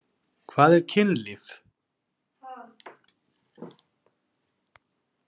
Hvað er kynlíf?